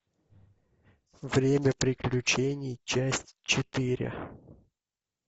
время приключений часть четыре